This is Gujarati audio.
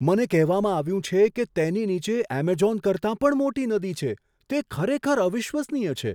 મને કહેવામાં આવ્યું છે કે તેની નીચે એમેઝોન કરતાં પણ મોટી નદી છે. તે ખરેખર અવિશ્વસનીય છે!